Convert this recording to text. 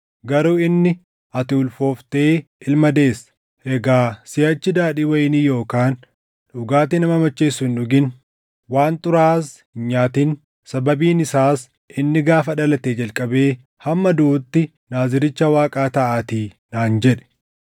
Garuu inni, ‘Ati ulfooftee ilma deessa. Egaa siʼachi daadhii wayinii yookaan dhugaatii nama macheessu hin dhugin; waan xuraaʼaas hin nyaatin; sababiin isaas inni gaafa dhalatee jalqabee hamma duʼutti Naaziricha Waaqaa taʼaatii’ naan jedhe.”